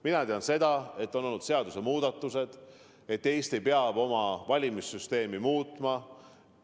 Mina tean seda, et on olnud seadusemuudatused, et Eesti peab oma valimissüsteemi muutma.